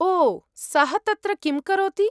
ओ सः तत्र किं करोति?